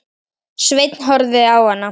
Sveinn horfði á hana.